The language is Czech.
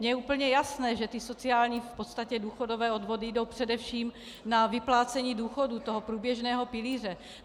Mně je úplně jasné, že ty sociální, v podstatě důchodové odvody jdou především na vyplácení důchodů, toho průběžného pilíře.